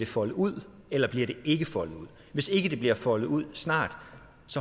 foldet ud eller bliver det ikke foldet ud hvis ikke det bliver foldet ud snart